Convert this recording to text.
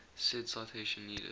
said citation needed